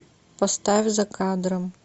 поставь за кадром